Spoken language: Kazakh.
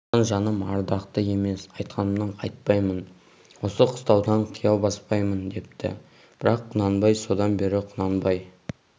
содан жаным ардақты емес айтқанымнан қайтпаймын осы қыстаудан қия баспаймын депті бірақ құнанбай содан бері құнанбай